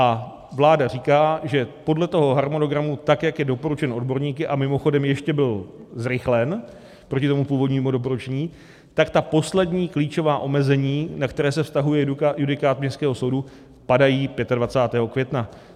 A vláda říká, že podle toho harmonogramu, tak jak je doporučen odborníky, a mimochodem, ještě byl zrychlen proti tomu původnímu doporučení, tak ta poslední klíčová omezení, na která se vztahuje judikát Městského soudu, padají 25. května.